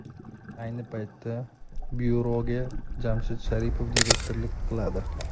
Ayni paytda byuroga Jamshid Sharipov direktorlik qiladi.